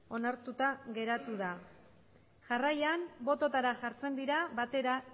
onartuta geratu da jarraian bototara jartzen dira batera